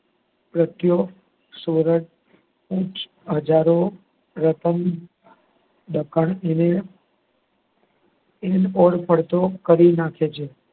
અડધો કરી નાખે છે.